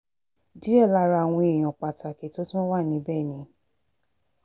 díẹ̀ lára àwọn èèyàn pàtàkì tó tún wà níbẹ̀ ni